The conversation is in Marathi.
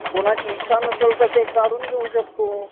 कुणाची इच्छा नसेल तर तो काढून घेऊ शकतो.